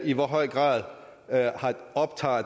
i hvor høj grad